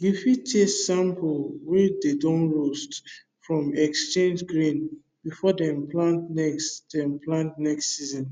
you fit taste sample wey dey don roast from exchanged grain before dem plant next dem plant next season